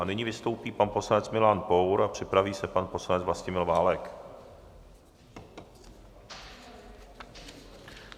A nyní vystoupí pan poslanec Milan Pour a připraví se pan poslanec Vlastimil Válek.